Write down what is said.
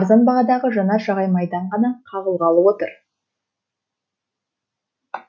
арзан бағадағы жанар жағар майдан да қағылғалы отыр